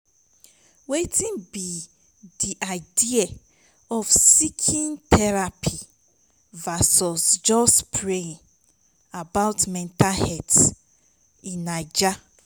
wetin be di idea of seeking therapy versus just praying about mental health in naija?